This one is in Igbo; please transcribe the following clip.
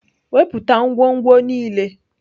Wepụta ngwongwo niile!